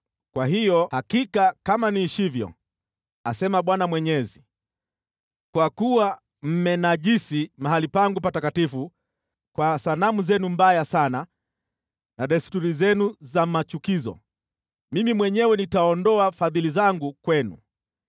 Kwa hiyo hakika kama niishivyo, asema Bwana Mwenyezi, kwa kuwa mmenajisi mahali pangu patakatifu kwa sanamu zenu mbaya sana na desturi zenu za machukizo, mimi mwenyewe nitaondoa fadhili zangu kwenu.